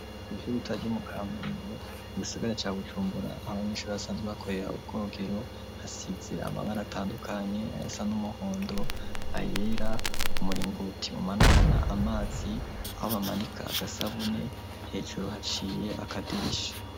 Igivyo bitajo mu kamenge igisigare ca gucumbura abanyinshuri basanzwe bakoera ubwogero hasize amabara atandukanye ayasa n'umuhondo ayera umuringoti umanukana amazi aho bamanika agasabune hejuru haciye akadirisha.